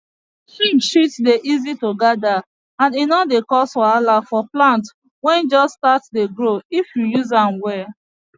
sheep shit dey easy to gather and e no dey cause wahala for plant wey just start dey grow if you use am well